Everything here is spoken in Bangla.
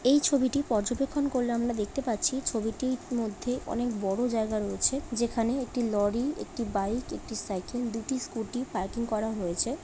এই ছবিটি পর্যবেক্ষণ করলে আমরা দেখতে পাচ্ছি ছবিটির মধ্যে অনেক বড় জায়গা রয়েছে যেখানে একটি লরি একটি বাইক একটি সাইকেল দুটি স্কুটি পার্কিং করা হয়েছে।